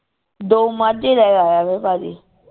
ਦੋ ਮਾਝੇ ਲੈ ਆਇਆ ਵੇ ਭਾਜੀ